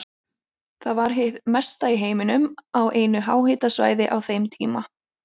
Það var hið mesta í heiminum á einu háhitasvæði á þeim tíma.